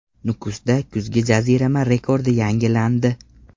Nukusda kuzgi jazirama rekordi yangilandi.